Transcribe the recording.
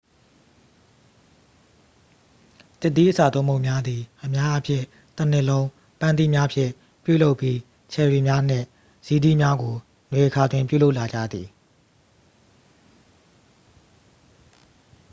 သစ်သီးအစာသွပ်မုန့်များသည် အများအားဖြင့် တစ်နှစ်လုံး ပန်းသီးများဖြင့် ပြုလုပ်ပြီး ချယ်ရီများနှင့်ဇီးသီးများကို နွေအခါတွင် ပြုလုပ်လာကြသည်